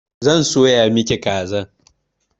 Zan soya miki kazan.